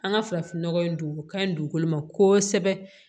An ka farafinnɔgɔ in don o ka ɲi dugukolo ma kosɛbɛ